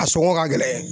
A sɔngɔ ka gɛlɛn